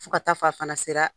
Fo ka taa fɔ a fana sera